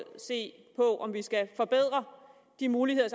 se på om vi skal forbedre de muligheder